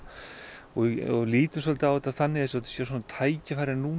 og lítum á það þannig að þetta sé tækifæri